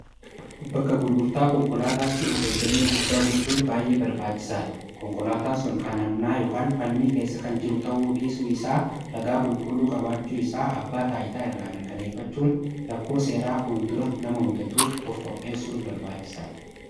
bakka gurgurtaa konkolaataatti of eeggannoo guddaa gochuun baay'ee barbaachisaa dha konkolaataan sun kan hannaa yn falmii keessa kan jiru ta'uu dhiisuu isaa ragaa qulqulluu qabaachuu isaa abbaa taa'itaa irraa mirkaneeffachuun rakkoo seeraa fuul dura nama mudatuuf of qopheessuun barbaachisaa dha